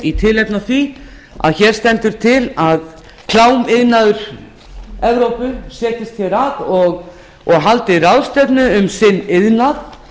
í tilefni af því að til stendur að klámiðnaður evrópu setjist hér að og haldi ráðstefnu um iðnað